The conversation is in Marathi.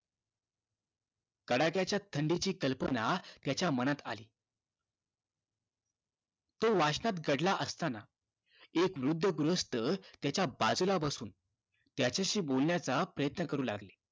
तडाख्याच्या थंडीची कल्पना त्याच्या मनात आली तो वाचनात गढला असताना एक वृद्ध गृहस्थ त्याच्या बाजूला बसून त्याच्याशी बोलण्याचा प्रयत्न करू लागला